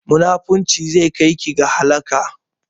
Munafurci zai kai ki ga halaka